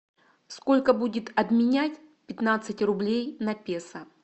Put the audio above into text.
сколько будет обменять пятнадцать рублей на песо